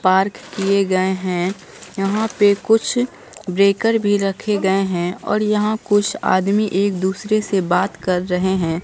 Park किए गए हैं। यहां पर कुछ ब्रेकर भी रखे गए हैं और यहां कुछ आदमी एक दूसरे से बात कर रहे हैं।